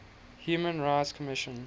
human rights commission